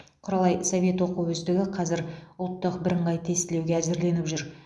құралай совет оқу үздігі қазір ұлттық бірыңғай тестілеуге әзірленіп жүр